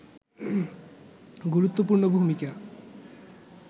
গুরুত্বপূর্ণ ভূমিকা